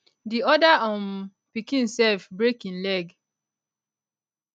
di other um pikin self break him leg